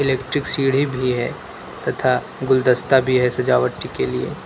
electric सीढ़ी भी है तथा गुलदस्ता भी है सजावटी के लिए--